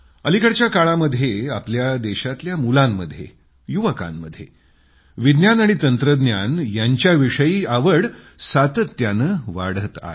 अलिकडच्या काळामध्ये आपल्या देशातल्या मुलांमध्ये युवकांमध्ये विज्ञान आणि तंत्रज्ञान यांच्याविषयी आवड सातत्यानं वाढतेय